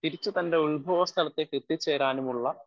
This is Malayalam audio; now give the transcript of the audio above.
സ്പീക്കർ 1 തിരിച്ച് തൻ്റെ ഉൽഭവസ്ഥലത്തേക്ക് എത്തിച്ചേരാനുമുള്ള